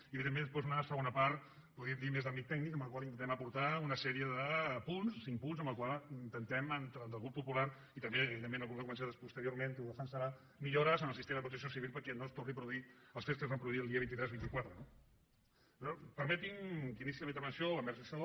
i evidentment després una segona podríem dir més d’àmbit tècnic en la qual intentem aportar una sèrie de punts cinc punts amb els quals intentem tant el grup popular i també evidentment el grup de convergència que posteriorment ho defensarà millores en el sistema de protecció civil perquè no es tornin a produir els fets que es van produir el dia vint tres i vint quatre no permetinme que iniciï la meva intervenció envers això